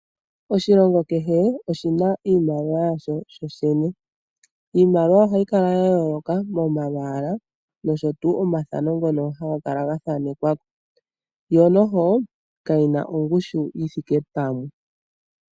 Oshilongo kehe oshiii na iiimaliwa yaasho kusho shene. Iimaliwa ohayi kala ya yooloka momakwaala, nosho tuu omathano ngono haga kala ga thanekwa ko, yo noho ka yi na ongushu yi thike pamwe.